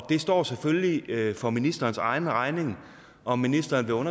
står selvfølgelig for ministerens egen regning om ministeren